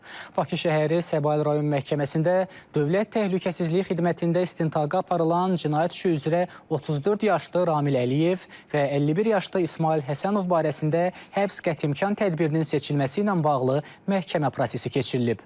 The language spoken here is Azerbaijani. Bakı şəhəri Səbail rayon məhkəməsində Dövlət Təhlükəsizlik Xidmətində istintaqa aparılan cinayət işi üzrə 34 yaşlı Kamil Əliyev və 51 yaşlı İsmayıl Həsənov barəsində həbs qətimkan tədbirinin seçilməsi ilə bağlı məhkəmə prosesi keçirilib.